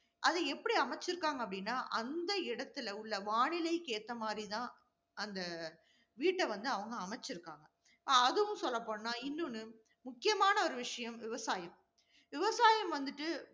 அது எப்படி அமைச்சிருக்காங்க அப்படின்னா அந்த இடத்தில உள்ள வானிலைக்கு ஏற்ற மாதிரி தான் அந்த வீட்டை வந்து அவங்க அமைச்சிருக்காங்க. அதுவும் சொல்லப்போனா இன்னொன்னு, முக்கியமான ஒரு விஷயம் விவசாயம். விவசாயம் வந்துட்டு